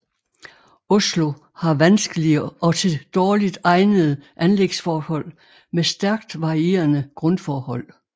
Oslo har vanskelige og til dårligt egnede anlægsforhold med stærkt varierende grundforhold